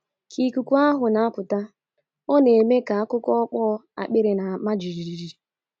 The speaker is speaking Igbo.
Ka ikuku ahụ na - apụta, ọ na - eme ka akụkụ okpo akpịrị na - ama jijiji.